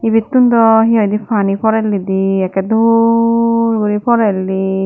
ibettun daw he hoidey pani porellidi ekkey dol guri porelli.